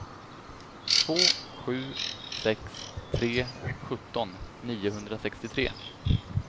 två sju sex tre sjutton niohundrasextiotre